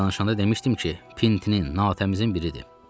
Eklidən danışanda demişdim ki, Pintenin natəmizin biridir.